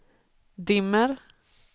dimmer